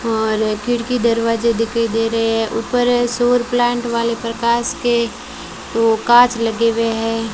और खिड़की दरवाजे दिखाई दे रहे हैं ऊपर शोर प्लांट वाले प्रकाश के वो कांच लगे हुए हैं।